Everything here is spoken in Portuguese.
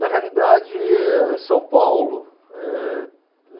Na realidade, eh, São Paulo, eh